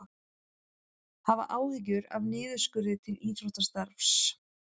Hafa áhyggjur af niðurskurði til íþróttastarfs